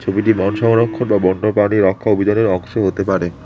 ছবিটি বন সংরক্ষণ বা বন্য প্রাণী রক্ষা অংশ হতে পারে।